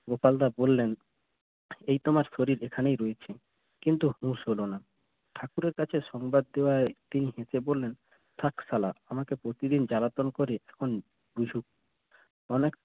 গোপালদা বললেন এই তোমার শরীর এখানেই রয়েছে কিন্তু হুশ হলো না ঠাকুরের কাছে সংবাদ দেওয়ায় তিনি হেসে বললেন থাক শালা আমাকে প্রতিদিন জ্বালাতন করে তখন বুঝুক